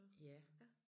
Ja